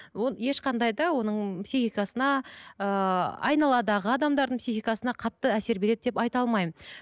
ешқандай да оның психикасына ыыы айналадағы адамдардың психикасына қатты әсер береді деп айта алмаймын